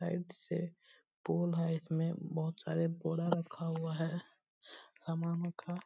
Side से pole है इसमें बहोत सारे बोड़ा रखा हुआ है सामनो का।